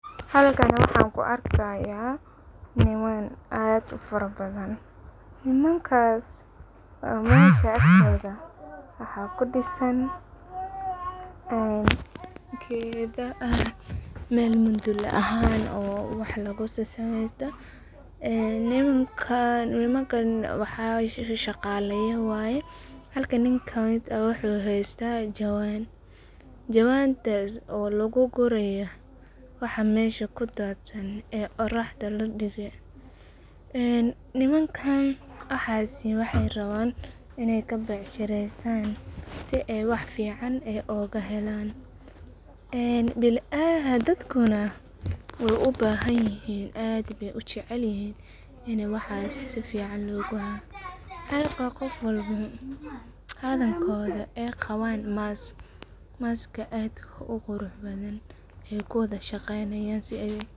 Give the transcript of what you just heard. Halkan waxan ku arki haya niman aad u fara badan, nimankas oo meshas tagan waxaa kudisan ee geedha ah meel mudula ahan oo wax lagu susu mesto, ee nimankan shaqalaya waye halka miid ka miid ah wuxuu haysta jawan, jawantas oo lagu guraya waxaa mesha kudadsan ee oraxda ladige, ee nimankan waxasi wexee rawan in ee kabecshirestan si ee wax fican oga helan, ee dadkuna wey u bahan yihin aad be ujecelyihin in waxas sifican loguha, tedha kale qarkodha ee qawan mask, maska aadka u qurux badan ee kuwadha shaqeynayan.